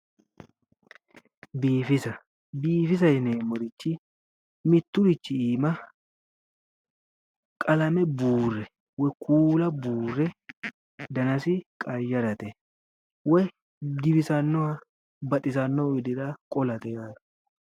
Biifisa, biifisa yinneemmorichi miturichi iima qalame buure woyi kuula buure dannasi qayarate woyi giwisanoha baxisanohu widira qolate yaate